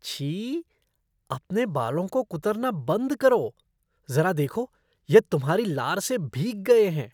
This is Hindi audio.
छी! अपने बालों को कुतरना बंद करो। ज़रा देखो, यह तुम्हारी लार से भीग गए हैं।